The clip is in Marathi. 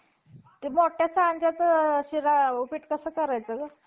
यास्तव त्याविषयी असे अनुमान सिद्ध होते कि, मागाहून काही लबाड लोकांनी संधी पाहून एकंदर प्राचीन ग्रंथातहि दंतकथा,